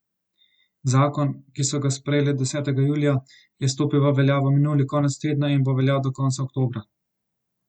Zakon, ki so ga sprejeli desetega julija, je stopil v veljavo minuli konec tedna in bo veljal do konca oktobra.